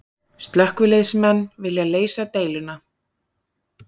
Slökkviliðsmenn vilja leysa deiluna